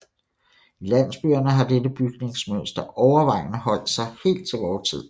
I landsbyerne har dette bygningsmønster overvejende holdt sig helt til vor tid